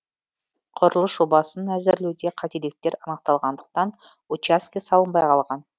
құрылыс жобасын әзірлеуде қателіктер анықталғандықтан учаске салынбай қалған